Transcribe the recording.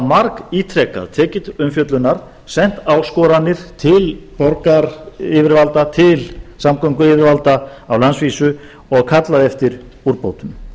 margítrekað tekið til umfjöllunar sent áskoranir til borgaryfirvalda til samgönguyfirvalda á landsvísu og kallað eftir úrbótum